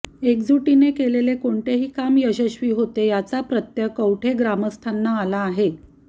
एकजुटीने केलेले कोणतेही काम यशश्वी होते याचा प्रत्यय कवठे ग्रामस्थांना आला आहे